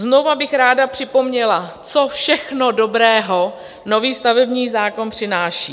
Znova bych ráda připomněla, co všechno dobrého nový stavební zákon přináší.